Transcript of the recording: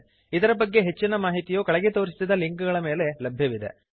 ಇದರ ಬಗ್ಗೆ ಹೆಚ್ಚಿನ ಮಾಹಿತಿಯು ಕೆಳಗೆ ತೋರಿಸಿದ ಲಿಂಕ್ ಗಳ ಮೇಲೆ ಲಭ್ಯವಿದೆ